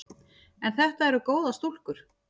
En þetta eru góðar stúlkur.